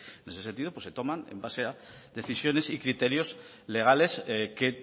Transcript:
en ese sentido se toman en base a decisiones y criterios legales que